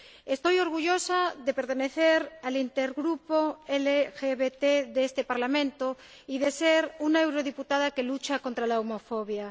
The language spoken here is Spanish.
Estoy orgullosa de pertenecer al intergrupo LGBT de este Parlamento y de ser una eurodiputada que lucha contra la homofobia.